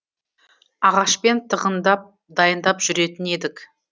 ағашпен тығындап дайындап жүретін едік